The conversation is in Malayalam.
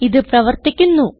ഇത് പ്രവർത്തിക്കുന്നു